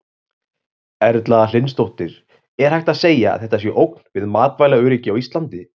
Erla Hlynsdóttir: Er hægt að segja að þetta sé ógn við matvælaöryggi á Íslandi?